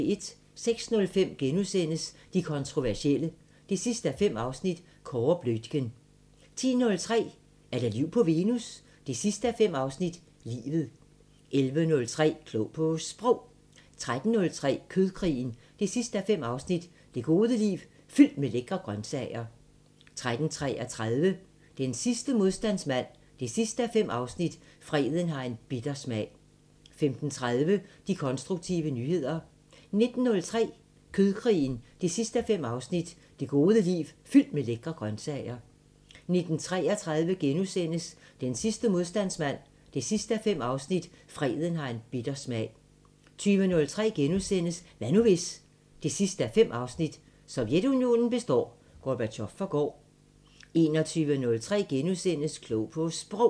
06:05: De kontroversielle 5:5 – Kåre Bluitgen * 10:03: Er der liv på Venus? 5:5 – Livet 11:03: Klog på Sprog 13:03: Kødkrigen 5:5 – Det gode liv fyldt med lækre grøntsager 13:33: Den sidste modstandsmand 5:5 – Freden har en bitter smag 15:30: De konstruktive nyheder 19:03: Kødkrigen 5:5 – Det gode liv fyldt med lækre grøntsager 19:33: Den sidste modstandsmand 5:5 – Freden har en bitter smag * 20:03: Hvad nu hvis...? 5:5 – Sovjetunionen består, Gorbatjov forgår * 21:03: Klog på Sprog *